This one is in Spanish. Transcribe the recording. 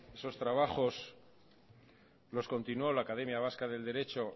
esos trabajos los continuó la academia vasca del derecho